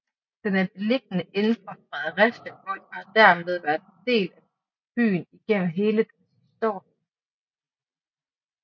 Den er beliggende inden for Fredericia Vold og har dermed været en del af byen igennem hele dens historie